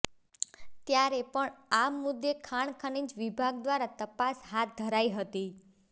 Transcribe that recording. ત્યારે પણ આ મુદ્દે ખાણ ખનીજ વિભાગ દ્વારા તપાસ હાથ ધરાઈ હતી